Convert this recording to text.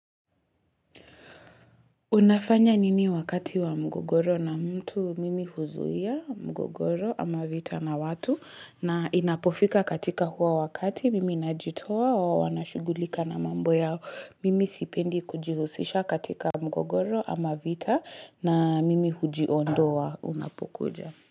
Unafanya nini wakati wa mgogoro na mtu? Mimi huzuia mgogoro ama vita na watu na inapofika katika huo wakati, mimi najitoa wao wanashughulika na mambo yao, mimi sipendi kujihusisha katika mgogoro ama vita na mimi hujiondoa unapokuja.